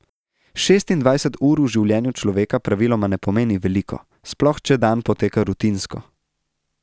Šestindvajset ur v življenju človeka praviloma ne pomeni veliko, sploh če dan poteka rutinsko.